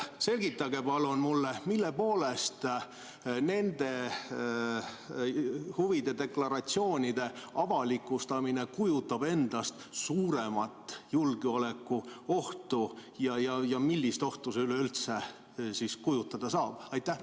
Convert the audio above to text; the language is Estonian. Selgitage palun mulle, mille poolest nende huvide deklaratsioonide avalikustamine kujutab endast suuremat julgeolekuohtu ja millist ohtu see üleüldse endast kujutada saab!